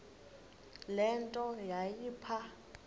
le nto yayipha